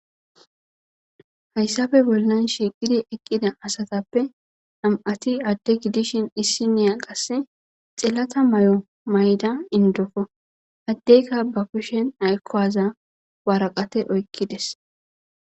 Hayssafe bolnan shiiqidi eqqida asatappe am7ati adde gidishin issi niya qasse xelata may7o mayda indofo addeyka bafushen aykkowaza waraqate oykkides.